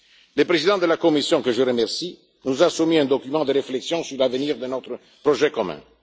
Le Président de la Commission que je remercie nous a soumis un document de réflexion sur l'avenir de notre projet commun.